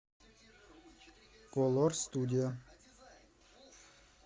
колор студия